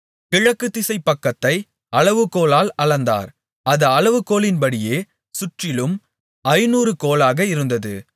கிழக்குதிசைப் பக்கத்தை அளவுகோலால் அளந்தார் அது அளவுகோலின்படியே சுற்றிலும் ஐந்நூறு கோலாக இருந்தது